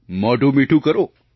મોઢું મીઠું કરો